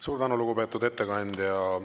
Suur tänu, lugupeetud ettekandja!